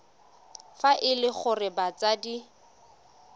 fa e le gore batsadi